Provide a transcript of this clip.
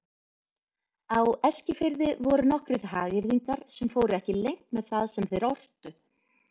Á Eskifirði voru nokkrir hagyrðingar sem fóru ekki leynt með það sem þeir ortu.